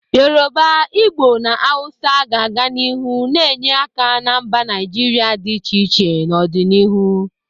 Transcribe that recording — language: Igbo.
Yoruba, Igbo na Hausa ga-aga n'ihu na-enye aka na mba Naijiria dị iche iche n'ọdịnihu.